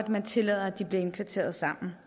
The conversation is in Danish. man tillader at de bliver indkvarteret sammen